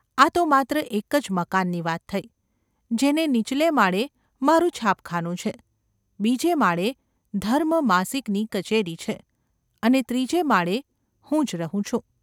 આ તો માત્ર એક જ મકાનની વાત થઈ, જેને નીચલે માળે મારું છાપખાનું છે, બીજે માળે ‘ધર્મ’ માસિકની કચેરી છે અને ત્રીજે માળે હું જ રહું છું.